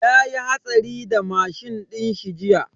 Yayi hatsari da mashin dinshi jiya.